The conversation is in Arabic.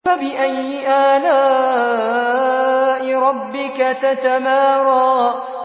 فَبِأَيِّ آلَاءِ رَبِّكَ تَتَمَارَىٰ